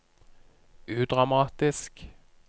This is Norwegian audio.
udramatisk